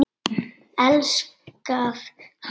Elskað hann